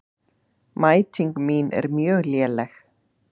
Mæting mín er mjög léleg.